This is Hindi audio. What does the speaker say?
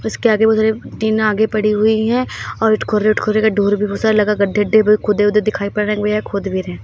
उसके आगे बहुत सारे टीन आगे पड़ी हुई है और खुदरे खुदरे डोर भी घुसा लगा गड्ढे वढे भी खुद उदे दिखायी पड़ रहे है और या खुद भी रहे हैं।